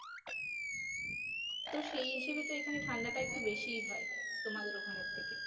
তো সেই হিসেবে তো এখানে ঠান্ডাটা একটু বেশিই হয় তোমাদের ওখানের থেকে